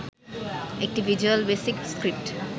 একটি Visual Basic script